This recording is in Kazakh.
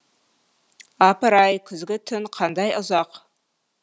апыр ай күзгі түн қандай ұзақ